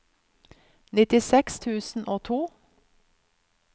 nittiseks tusen og to